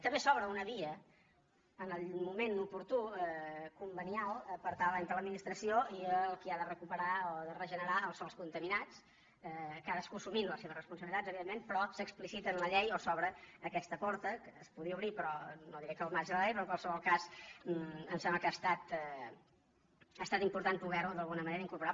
també s’obre una via en el moment oportú conve·nial entre l’administració i el qui ha de recuperar o de regenerar els sòls contaminats cadascú assumint les seves responsabilitats evidentment però s’explicita en la llei o s’obre aquesta porta que es podia obrir no diré que al marge de la llei però en qualsevol cas em sem·bla que ha estat important poder·ho d’alguna manera incorporar